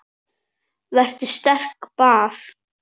Vertu sterk- bað